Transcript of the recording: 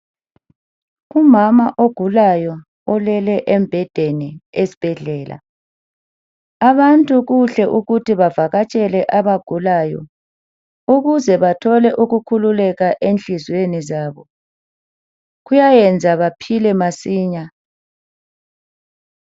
Umama ogulayo ulele embhedeni esibhedlela. Abantu kuhle ukuthi bavakatshele abagulayo ukuze bethole ukukhululeka enhliziyweni zabo. Kuyayeza baphile masinya.